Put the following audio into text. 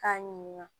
K'a ɲininka